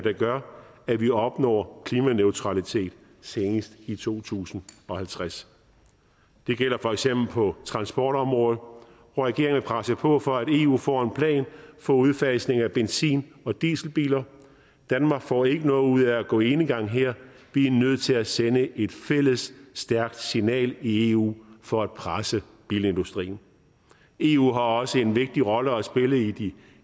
der gør at vi opnår klimaneutralitet senest i to tusind og halvtreds det gælder for eksempel på transportområdet hvor regeringen vil presse på for at eu får en plan for udfasning af benzin og dieselbiler danmark får ikke noget ud af at gå enegang her vi er nødt til at sende et fælles stærkt signal i eu for at presse bilindustrien eu har også en vigtig rolle at spille i de